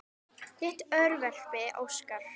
Þitt örverpi Óskar.